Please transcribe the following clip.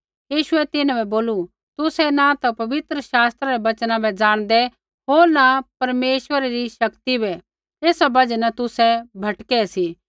यीशुऐ तिन्हां बै बोलू तुसै न ता पवित्र शास्त्रा रै बचना बै ज़ाणदै होर न परमेश्वरै री शक्ति बै एसा बजहा न तुसै भटकै सी